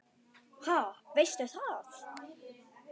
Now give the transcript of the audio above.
Ha, veistu það?